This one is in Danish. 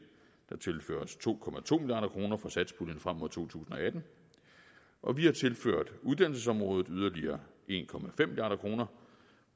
der tilføres to milliard kroner fra satspuljen frem mod to tusind og atten og vi har tilført uddannelsesområdet yderligere en milliard kroner